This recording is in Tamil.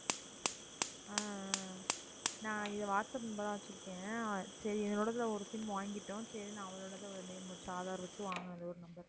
ஆஹ் ஆஹ் நான் இத வாட்ஸ்அப் நம்பரா வச்சிருக்கேன் சரி என்னோடதுல ஒரு sim வாங்கிட்டோம் சரின்னு அவளுடையத name வச்சு aadhar வச்சு வாங்கினது ஒரு number